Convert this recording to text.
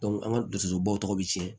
an ka dusubɔ tɔw bɛ cɛn